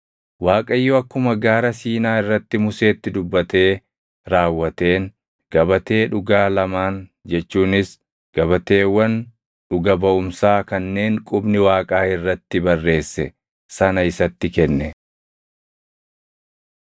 Waaqayyo akkuma Gaara Siinaa irratti Museetti dubbatee raawwateen gabatee dhugaa lamaan jechuunis gabateewwan dhuga baʼumsaa kanneen qubni Waaqaa irratti barreesse sana isatti kenne.